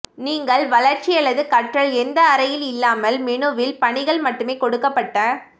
நீங்கள் வளர்ச்சி அல்லது கற்றல் எந்த அறையில் இல்லாமல் மெனுவில் பணிகள் மட்டுமே கொடுக்கப்பட்ட